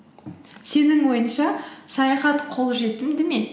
сенің ойыңша саяхат қолжетімді ме